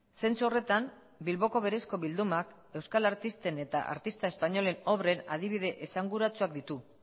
zentzu horretan bilboko berezko bildumak euskal artisten eta artista espainolen obren adibide esanguratsuak ditu